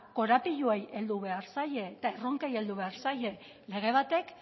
korapiloei heldu behar zaie eta erronkei heldu behar zaie lege batek